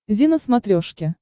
зи на смотрешке